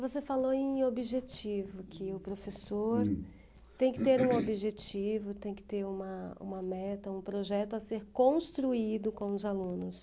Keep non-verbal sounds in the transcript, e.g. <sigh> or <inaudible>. Você falou em objetivo, que o professor, hm, tem que ter um objetivo, <coughs> tem que ter uma um meta, um projeto a ser construído com os alunos.